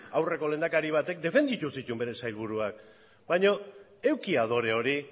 aurreko lehendakari batek defenditu zituen bere sailburuak baina eduki adore hori